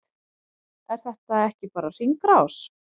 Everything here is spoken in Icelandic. Er þetta ekki bara hringrás?